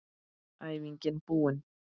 Æfingin búin!